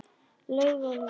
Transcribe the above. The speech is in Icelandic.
Laug og laug.